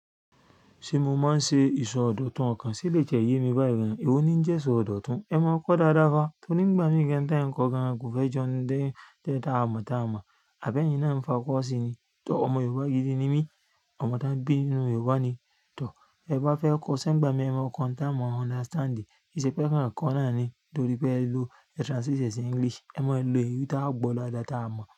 Ṣé mo máa ń ṣe ìsọdọ̀tun ọkàn? Sé elèyí ti e ye mi bá yii ewo ni ń jẹ́ sọ ọ̀dọ̀tun. Ẹ máa kọ́ dáadáa fa, torí nígbà míì gan in tẹ́ ń kọ gan-an kò fẹ́ jọnu dé té tá táa mọ̀ tá a mọ̀. Àbẹ́yin náà ń fa kọ́ọ́ sí i ni. Tọ̀, ọmọ Yorùbá gidi ni mí, ọmọ tọ́n bí nínú Yorùbá ni. Tọ̀, tẹ́ẹ bá fẹ́ kọ́ ṣé ń gbà míì ẹ máa kọ ohun táá mọ understand. Kìíṣe pé ẹẹ́ kàn kọọ́ náà ni torí pé ẹ lo ẹ translate ẹ̀ sí English. Ẹ máa lo èyí táá gbọ́ dáadáa tá a mọ̀.